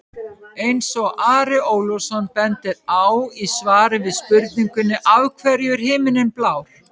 Eins og Ari Ólafsson bendir á í svari við spurningunni Af hverju er himinninn blár?